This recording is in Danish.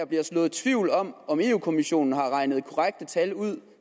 bliver sået tvivl om om europa kommissionen har regnet korrekte tal ud